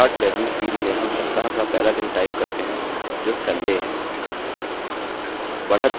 start value field में हम सप्ताह का पहला दिन type करते हैं जो sunday है